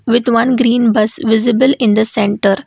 with one green bus visible in the centre.